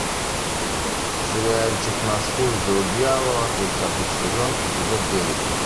сериальчик на службе у дьявола тридцатый сезон эпизод девять